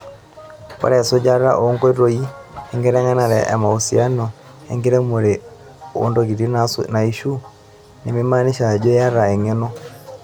Ore esujata oonkoitoi enkiteng'enare emausiano enkiremore ontoikitin naishiu neimaanisha ajo iyata eng'eno.